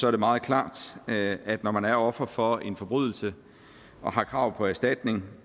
er det meget klart at at når man er offer for en forbrydelse og har krav på erstatning